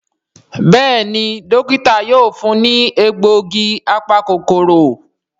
Béèni Dókítà yóò fún ní egbògi apa-kòkòrò.